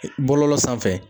Bɔlɔlɔ sanfɛ